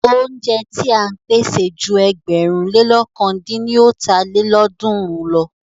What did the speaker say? Óúnjẹ ti à ń pèsè ju ẹgbẹ̀rún lé lọ̀kan dín ní ọ́ta lélọ́ọ̀dúnrún lọ.